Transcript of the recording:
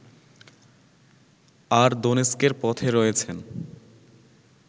আর দোনেৎস্কের পথে রয়েছেন